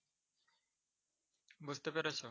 বুঝতে পেরেছ?